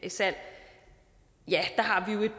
salg har vi